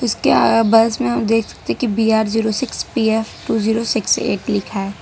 उसके अ बस में हम देखते कि B R zero six P F two zero six eight लिखा है।